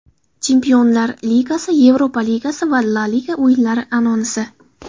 Chempionlar ligasi, Yevropa Ligasi va La liga o‘yinlari anonsi.